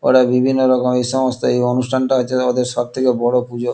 ওরা বিভন্ন রকম এসমস্ত এই অনুষ্ঠানটা আছে ওদের সবথেকে বড় পুজো।